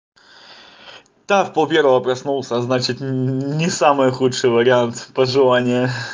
да в пол первого проснулся значит не самый худший вариант пожелания